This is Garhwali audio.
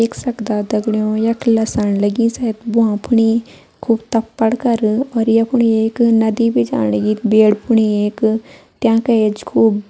देख सक्दा दगड़ियों यख लसण लगि से भ्वाां फुणी खुब तप्पड़ कर और ये खुणि एक नदी बि जाण लगि। बियड़ फुणि एक त्याँ क एज खूब --